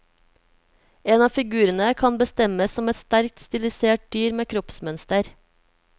En av figurene kan bestemmes som et sterkt stilisert dyr med kroppsmønster.